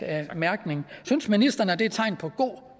mærkning synes ministeren at det er tegn på god